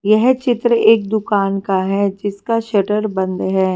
यह चित्र एक दुकान का है जिसका शटर बंद है।